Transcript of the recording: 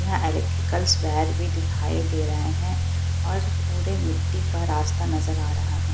यहां electricals wire भी दिखाई दे रहे है और पूरे मिट्टी का रास्ता नजर आ रहा है।